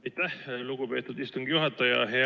Aitäh, lugupeetud istungi juhataja!